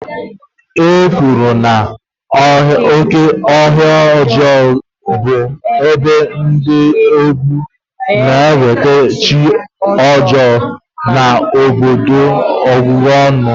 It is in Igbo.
A kwenyere na "oke ọhịa ọjọọ" bụ ebe dị egwu na-eweta chi ọjọọ na ọbụbụ ọnụ.